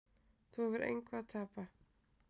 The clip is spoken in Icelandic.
Þú hefur engu að tapa.